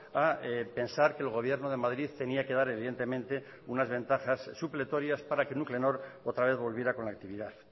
a pensar que el gobierno de madrid tenía que dar evidentemente unas ventajas supletorias para que nuclenor otra vez volviera con la actividad